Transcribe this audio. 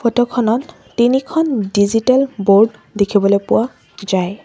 Photo খনত তিনিখন digital board দেখিবলৈ পোৱা যায়।